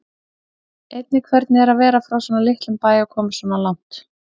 Einnig hvernig er að vera frá svona litlum bæ og komast svona langt?